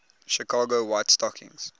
chicago white stockings